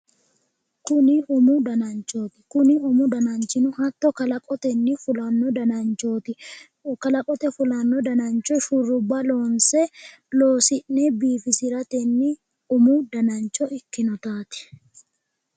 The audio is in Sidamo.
Tini umu dananchooti. tini umu dananchino mitto kalaqotenni fulanno dananchooti. kalaqote fulanno danancho shurrubba loosi'ne biigisiratenni umu danancho ikkinotaati.